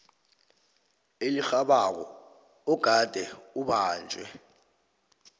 elirhabako ogade ubanjwe